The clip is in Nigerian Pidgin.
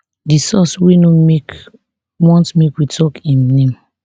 di source wey no want make we tok im name